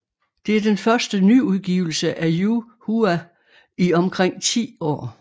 Det er den første nyudgivelse af Yu Hua i omkring 10 år